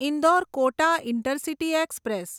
Indore Kota intercity express